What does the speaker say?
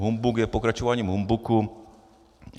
Humbuk je pokračováním humbuku.